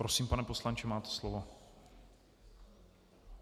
Prosím, pane poslanče, máte slovo.